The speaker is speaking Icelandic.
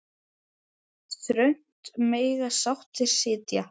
Þröngt mega sáttir sitja.